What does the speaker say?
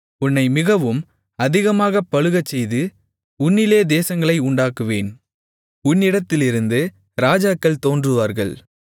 உன்னை மிகவும் அதிகமாகப் பலுகச்செய்து உன்னிலே தேசங்களை உண்டாக்குவேன் உன்னிடத்திலிருந்து ராஜாக்கள் தோன்றுவார்கள்